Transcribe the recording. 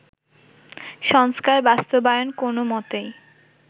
সংস্কার বাস্তবায়ন কোনো মতেই